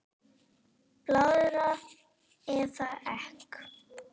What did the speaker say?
Blaðra eða Ek?